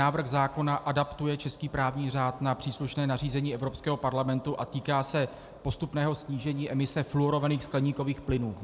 Návrh zákona adaptuje český právní řád na příslušné nařízení Evropského parlamentu a týká se postupného snížení emise fluorovaných skleníkových plynů.